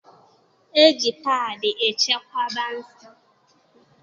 E ji paadị echekwaba nsọ